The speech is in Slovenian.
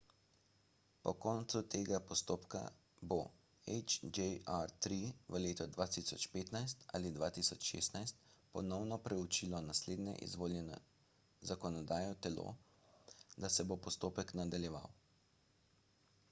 po koncu tega postopka bo hjr-3 v letu 2015 ali 2016 ponovno preučilo naslednje izvoljeno zakonodajno telo da se bo postopek nadaljeval